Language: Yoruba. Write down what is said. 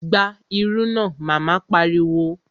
Gba irú náà! Mama pariwo